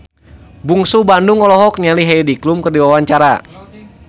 Bungsu Bandung olohok ningali Heidi Klum keur diwawancara